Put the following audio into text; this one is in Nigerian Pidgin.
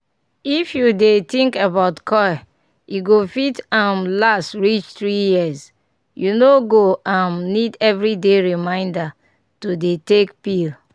if you dey think about coil e go fit um last reach 3yrs --u no go um need everyday reminder to dey take pill.